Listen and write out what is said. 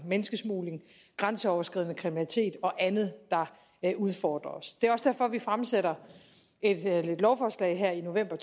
menneskesmugling grænseoverskridende kriminalitet og andet der udfordrer os det er også derfor at vi fremsætter et lovforslag her i november